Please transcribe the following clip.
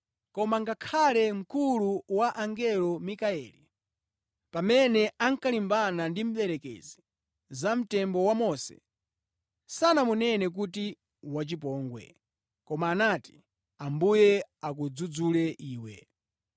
Koma ngakhale mkulu wa angelo Mikayeli, pamene ankalimbana ndi Mdierekezi za mtembo wa Mose, sanamunene kuti wachipongwe, koma anati, “Ambuye akudzudzule iwe!”